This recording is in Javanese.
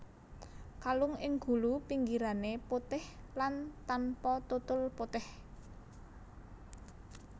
Kalung ing gulu pinggirané putih lan tanpa tutul putih